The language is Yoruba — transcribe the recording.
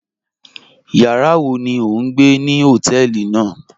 Yàrá wọ̀ ní ọ̀ n gbẹ̀ ní hotẹ̀ẹlí náà?